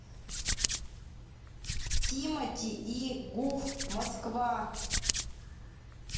тимати и гуф москва